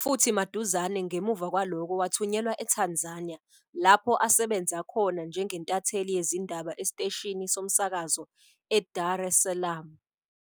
futhi maduzane ngemuva kwalokho wathunyelwa eTanzania lapho asebenza khona njengentatheli yezindaba esiteshini somsakazo eDar es Salaam.